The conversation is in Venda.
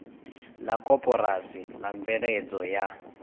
la koporasi la mveledzo ya